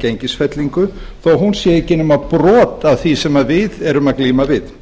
gengisfellingu þó að hún sé ekki eða brot af því sem við erum að glíma við